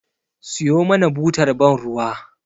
Siyo mana butar ban ruwa